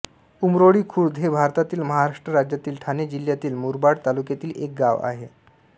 उंबरोळी खुर्द हे भारतातील महाराष्ट्र राज्यातील ठाणे जिल्ह्यातील मुरबाड तालुक्यातील एक गाव आहे